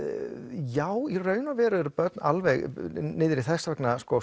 já í raun eru börn alveg niður í þess vegna